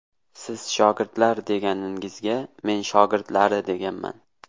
Siz ‘shogirdlar’ deganingizga men shogirdlari deganman.